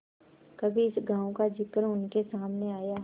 कभी इस गॉँव का जिक्र उनके सामने आया